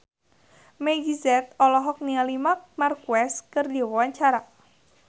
Meggie Z olohok ningali Marc Marquez keur diwawancara